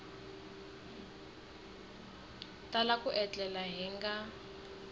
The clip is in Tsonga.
tala ku etlela hi nga